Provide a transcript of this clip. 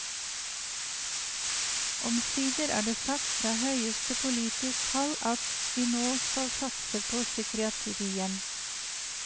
Omsider er det sagt frå høgaste politisk hald at vi no skal satse på psykiatrien.